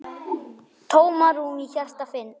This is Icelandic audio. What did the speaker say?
Tómarúm í hjarta finn.